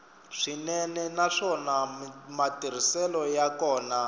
swinene naswona matirhiselo ya kona